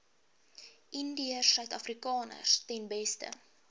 indiërsuidafrikaners ten beste